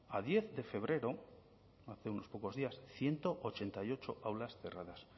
a diez de febrero hace unos pocos días ciento ochenta y ocho aulas cerradas